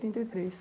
e três